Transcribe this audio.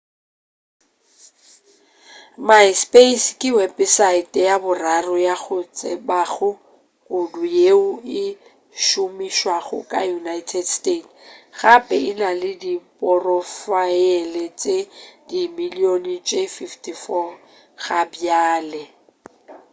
myspace ke wepesaete ya boraro ya go tsebega kudu yeo e šomišwago ka united states gape e na le diphorofaele tše dimilion tše 54 gabjale